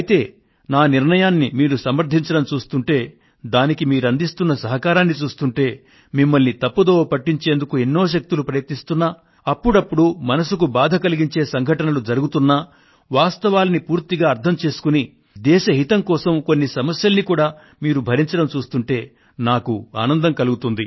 అయితే నా నిర్ణయాన్ని మీరు సమర్ధించడం చూస్తుంటే దానికి మీరందిస్తున్న సహకారాన్ని చూస్తుంటే మిమ్మల్ని తప్పుదోవ పట్టించేందుకు ఎన్నో శక్తులు ప్రయత్నిస్తున్నా అప్పుడప్పుడూ మనసుకు బాధ కలిగించే ఘటనలు జరుగుతున్నా వాస్తవాన్ని పూర్తిగా అర్థం చేసుకుని దేశ హితం కోసం కొన్ని సమస్యల్ని కూడా మీరు భరించడం చూస్తుంటే నాకు ఆనందం కలుగుతోంది